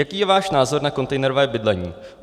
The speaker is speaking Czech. Jaký je váš názor na kontejnerové bydlení?